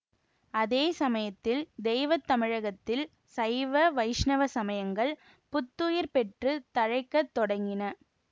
அதே சமயத்தில் தெய்வ தமிழகத்தில் சைவ வைஷ்ணவ சமயங்கள் புத்துயிர் பெற்று தழைக்கத் தொடங்கின